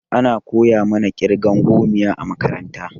Ana koya mana ƙirgan gomiya a makaranta.